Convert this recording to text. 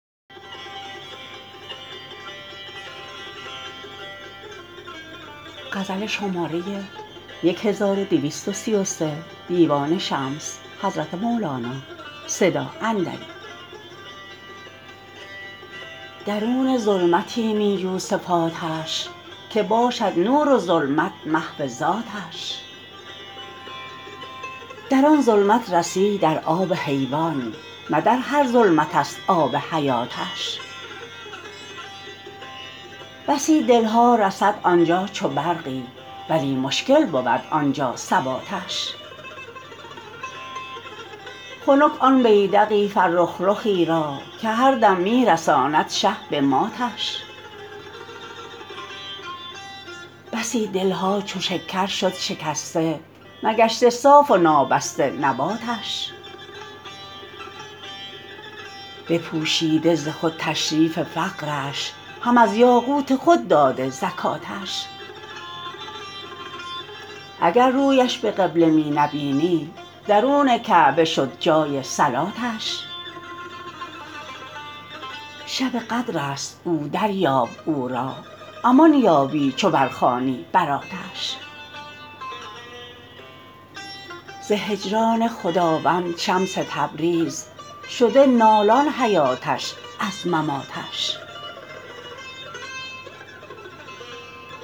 درون ظلمتی می جو صفاتش که باشد نور و ظلمت محو ذاتش در آن ظلمت رسی در آب حیوان نه در هر ظلمتست آب حیاتش بسی دل ها رسد آن جا چو برقی ولی مشکل بود آن جا ثباتش خنک آن بیدق فرخ رخی را که هر دم می رساند شه به ماتش بسی دل ها چو شکر شد شکسته نگشته صاف و نابسته نباتش بپوشیده ز خود تشریف فقرش هم از یاقوت خود داده زکاتش اگر رویش به قبله می نبینی درون کعبه شد جای صلاتش شب قدرست او دریاب او را امان یابی چو برخوانی براتش ز هجران خداوند شمس تبریز شده نالان حیاتش از مماتش